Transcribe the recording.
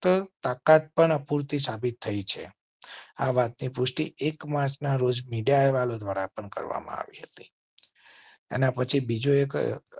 તાકાત પણ અપૂરતી સાબિત થઈ છે. આ વાત ની પુષ્ટિ એક માર્ચ ના રોજ મીડિયા અહેવાલો દ્વારા પણ કરવામાં આવી હતી. એના પછી બીજો એક